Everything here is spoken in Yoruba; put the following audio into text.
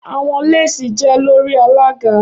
Awọn lesi jẹ lori alaga